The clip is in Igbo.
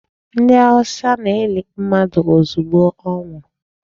Ndị Hausa na-eli mmadụ ozugbo ọ nwụrụ.